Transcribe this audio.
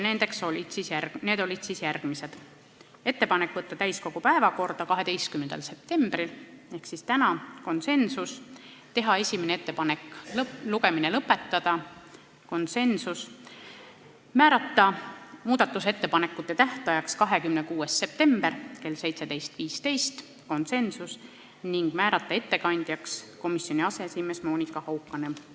Need olid siis järgmised: ettepanek võtta eelnõu täiskogu päevakorda 12. septembril ehk täna , teha ettepanek esimene lugemine lõpetada , määrata muudatusettepanekute tähtajaks 26. september kell 17.15 ning määrata ettekandjaks komisjoni aseesimees Monika Haukanõmm .